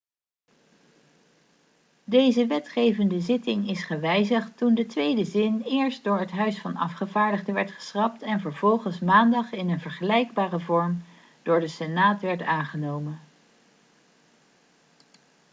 deze wetgevende zitting is gewijzigd toen de tweede zin eerst door het huis van afgevaardigden werd geschrapt en vervolgens maandag in een vergelijkbare vorm door de senaat werd aangenomen